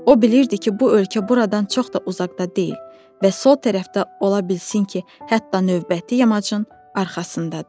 O bilirdi ki, bu ölkə buradan çox da uzaqda deyil və sol tərəfdə ola bilsin ki, hətta növbəti yamacın arxasındadır.